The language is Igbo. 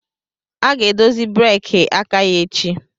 A ga-edozi breeki aka ya echi